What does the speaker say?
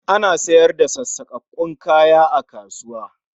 Ana sayar da sassakakkun kaya a kasuwa